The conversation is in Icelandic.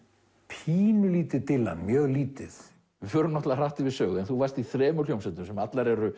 pínulítið Dylan mjög lítið við förum hratt yfir sögu en þú varst í þremur hljómsveitum sem allar eru